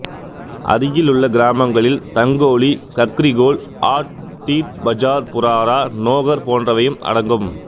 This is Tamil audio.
அருகிலுள்ள கிராமங்களில் தங்கோலி கக்ரிகோல் ஆட் தீட் பஜார் புராரா நோகர் போன்றவையும் அடங்கும்